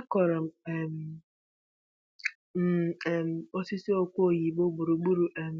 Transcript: Akụrụ um m um osisi okwe oyibo gburugburu um